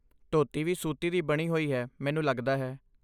ਧੋਤੀ ਵੀ ਸੂਤੀ ਦੀ ਬਣੀ ਹੋਈ ਹੈ, ਮੈਨੂੰ ਲੱਗਦਾ ਹੈ।